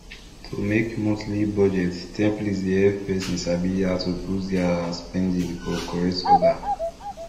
to make monthly budget template dey help person sabi how to put their spending for correct order